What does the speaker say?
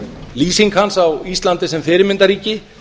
lýsing hans á íslandi sem fyrirmyndarríki